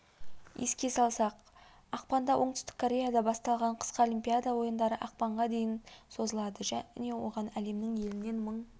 еске салсақ ақпанда оңтүстік кореяда басталған қысқы олимпиада ойындары ақпанға дейін созылады оған әлемнің елінен мың